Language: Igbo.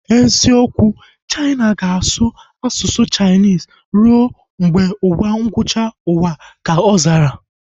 Eziokwu, Chaina ga-asụ Chainis rue mgbe ụwa ngwụcha uwa ka ọ zara